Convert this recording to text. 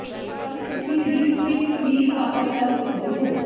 ਪਰ ਤੁਸੀਂ wing fix ਵੀ ਪ੍ਰਾਪਤ ਕਰ ਸਕਦੇ ਹੋ